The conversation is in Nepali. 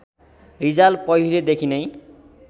रिजाल पहिलेदेखि नै